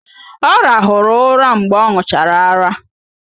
Ọ rahụrụ ụra mgbe ọ ṅụchara ara